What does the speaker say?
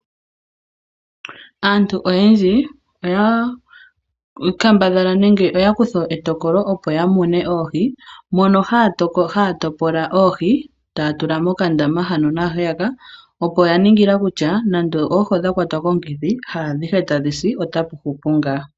Aantu oyendji, oya kambadhala nenge oya kutha etokolo opo ya mune oohi, mono haya topology oohi, taya tula mokandama hano na heyaka, opo ya ningila kutya nande oohi odha kwatwa komukithi, jaa dhihe tadhisi, ota pu hupu ngaa.